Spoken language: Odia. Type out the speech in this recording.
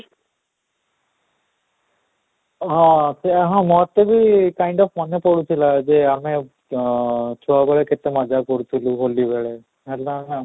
ହଁ ସେଇୟା ହଁ ମୁଁ ମତେ ବି ମନେପଡ଼ୁଥିଲା ଯେ ଆମେ ଅଁ ଛୁଆବେଳେ କେତେ ମଜ୍ଜା କରୁଥିଲୁ ହୋଲି ବେଳେ ହେଲେ ହଁ